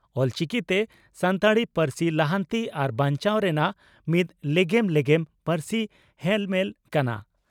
ᱚᱞᱪᱤᱠᱤᱛᱮ ᱥᱟᱱᱛᱟᱲᱤ ᱯᱟᱹᱨᱥᱤ ᱞᱟᱦᱟᱱᱛᱤ ᱟᱨ ᱵᱟᱧᱪᱟᱣ ᱨᱮᱱᱟᱜ ᱢᱤᱫ ᱞᱮᱜᱮᱢ ᱞᱮᱜᱮᱢ ᱯᱟᱹᱨᱥᱤ ᱦᱮᱞᱢᱮᱞ ᱠᱟᱱᱟ ᱾